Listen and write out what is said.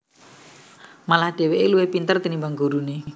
Malah dheweke luwih pinter tinimbang gurune